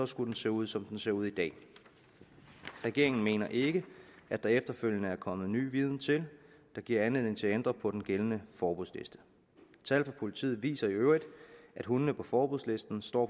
skulle den se ud som den ser ud i dag regeringen mener ikke at der efterfølgende er kommet ny viden til der giver anledning til at ændre på den gældende forbudsliste tal fra politiet viser i øvrigt at hundene på forbudslisten står